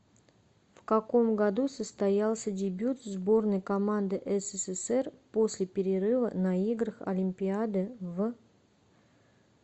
в каком году состоялся дебют сборной команды ссср после перерыва на играх олимпиады в